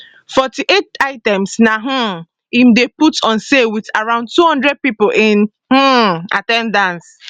forty eight items na um im dem put on sale with around 200 people in um at ten dance